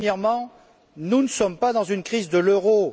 Premièrement, nous ne sommes pas dans une crise de l'euro.